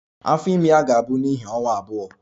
Afọ ime ya ga-abụ n'ihi ọnwa abụọ